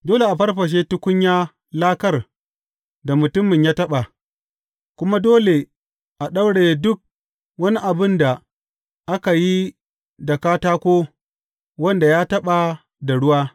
Dole a farfashe tukunya lakar da mutumin ya taɓa, kuma dole a ɗauraye duk wani abin da aka yi da katako wanda ya taɓa da ruwa.